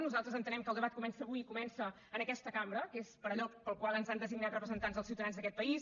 nosaltres entenem que el debat comença avui i comença en aquesta cambra que és per allò per al qual ens han designat representants dels ciutadans d’aquest país